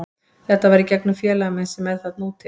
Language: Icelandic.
Þetta var í gegnum félaga minn sem er þarna úti.